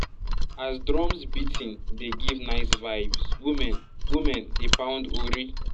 as drums beating dey give nice vibes women women dey pound ori